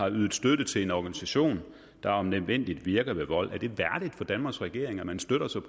yder støtte til en organisation der om nødvendigt virker ved vold er det værdigt for danmarks regering at den støtter sig